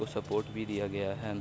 और सपोर्ट भी दिया गया है।